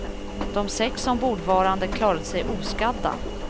De sex ombordvarande klarade sig oskadda.